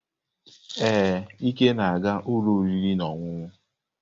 Ee, Ike na-aga ụlọ oriri na ọṅụṅụ.